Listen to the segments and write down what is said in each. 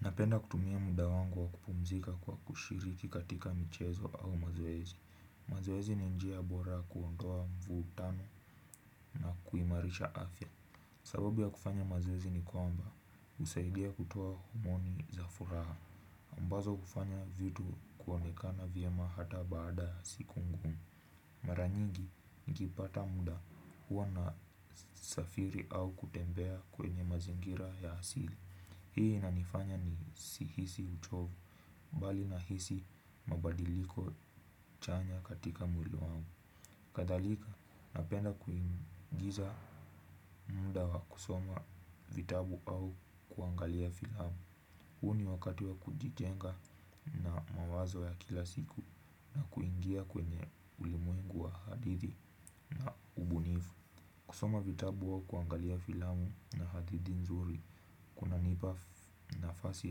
Napenda kutumia muda wangu wa kupumzika kwa kushiriki katika michezo au mazoezi. Mazoezi ni njia bora kuondoa mvuutano na kuimarisha afya. Sababu ya kufanya mazoezi ni kwamba husaidia kutoa maoni za furaha. Ambazo kufanya vitu kuonekana vyema ata baada ya siku ngumu. Mara nyingi nikipata muda huwa nasafiri au kutembea kwenye mazingira ya hasili. Hii inanifanya nisihisi uchovu mbali na hisi mabadiliko chanya katika mwili wangu. Kadhalika napenda kuingiza muda wa kusoma vitabu au kuangalia filamu. Huo ni wakati wa kujijenga na mawazo ya kila siku na kuingia kwenye ulimwengu wa hadithi na ubunifu. Kusoma vitabu au kuangalia filamu na hadithi nzuri, kunanipa nafasi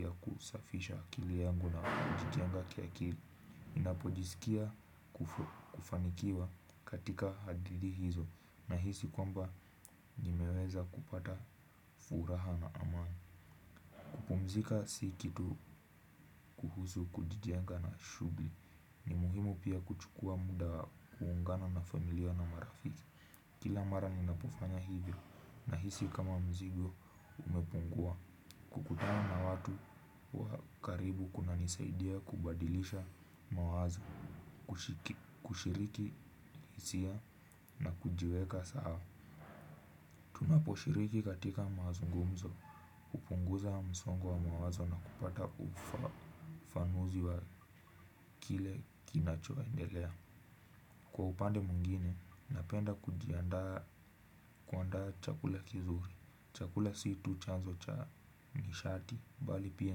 ya kusafisha akili yangu na kujijenga kiakili. Ninapojiskia kufanikiwa katika hadithi hizo nahisi kwamba nimeweza kupata furaha na amani. Kuoumzika si kitu kuhusu kujijenga na shughuli ni muhimu pia kuchukua muda kujiunga na familia na mrafiki. Kila mara ninapofanya hivyo nahisi kama mzigo umepungua. Kukutana na watu wa karibu kunanisaidia kubadilisha mawazo. Kushiriki hisia na kujiweka saao. Tunaposhiriki katika mazungumzo hupunguza msongo wa mawazo na kupata ufafanuzi wa kile kinachoendelea. Kwa upande mwingine, napenda kujiandaa kuandaa chakula kizuri. Chakula si tu chanzo cha nishati. Mbali pia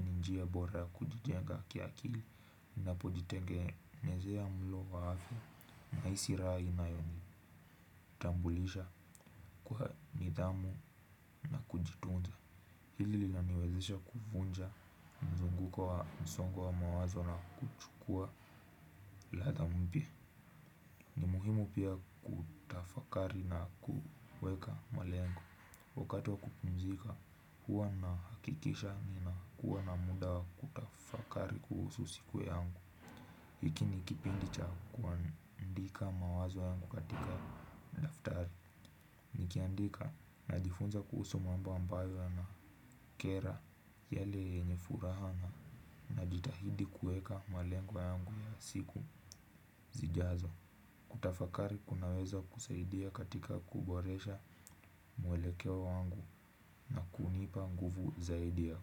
ni njia bora ya kujijenga kiakili. Ninapojitengenezea mlo wa afya nahisi raha inayo nitambulisha nifhamu na kujitumza. Hili lilaniwezesha kuvunja mzunguko wa msongo wa mawazo na kuchukua ladha mpya muhimu pia kufakari na kuweka malengo wakati wa kupumzika huwa nahakikisha ninakuwa na muda wa kutafakari kuhusu sikuwe yangu hiki ni kipindi cha kuandika mawazo yangu katika daftari nikiandika najifunza kuhusu mambo ambayo yanakera yale yenye furaha na najitahidi kueka malengo yangu ya siku zijazo kutafakati kunaweza kusaidia katika kubotesha mwelekeo wangu na kunipa nguvu zaidi ya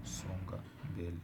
kusonga mbele.